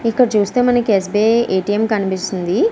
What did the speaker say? ఇక్కడ చూస్తే మనకి S. B. I A. T. M కనిపిస్తుంది.